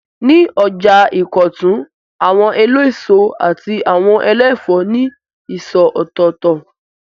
Ní ọjà Ìkọ̀tún, àwọn eléso àti àwọn ẹlẹ́fòó ní ìsọ̀ ọ̀tọ̀ọ̀tọ̀.